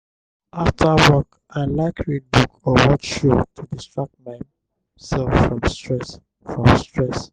after work i like read book or watch show to distract myself from stress. from stress.